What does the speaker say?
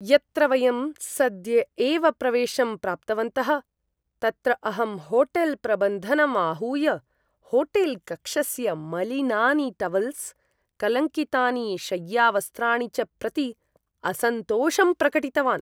यत्र वयं सद्य एव प्रवेशं प्राप्तवन्तः तत्र अहं होटेल्प्रबन्धनम् आहूय होटेल्कक्षस्य मलिनानि टवल्स्, कलङ्कितानि शय्यावस्त्राणि च प्रति असन्तोषं प्रकटितवान्।